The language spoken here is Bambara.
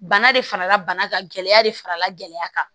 Bana de farala bana kan gɛlɛya de farala gɛlɛya kan